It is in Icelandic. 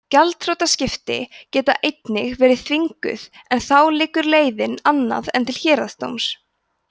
gjaldþrotaskipti geta einnig verið þvinguð en þá liggur leiðin annað en til héraðsdóms